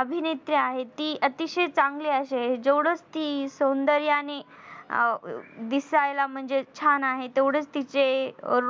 अभिनेत्री आहे ती अतिशय चांगली अशी आहे. जेवढच ती सौंदर्याने आ दिसायला म्हणजे छान आहे तेवढंच तिचे